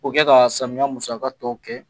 O kɛ ka samiya musaka tɔ kɛ